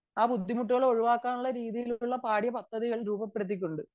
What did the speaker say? ഒഴിവാക്കാനുള്ള രീതിയിലേക്ക് പാഠ്യപദ്ധതി രൂപപ്പെടുത്തിക്കൊണ്ട്